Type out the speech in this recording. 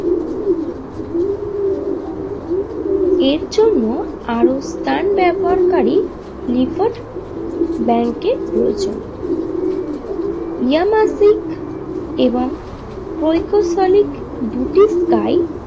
এর জন্য আরও স্থান ব্যবহার কারী লিফোর্ড ব্যাঙ্কের প্রয়োজন ইয়ামারসিক এবং পৈইকোসলিক দুটি স্থায়ী।